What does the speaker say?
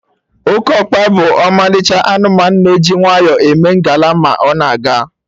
Okeokpa bụ ọmalịcha anụmanụ, na-eji nwayọ eme ngala ma ọ na-aga